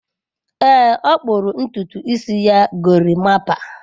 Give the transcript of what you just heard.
Ee, ọ kpụrụ ntutu isi ya gorimapa.